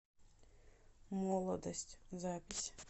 молодость запись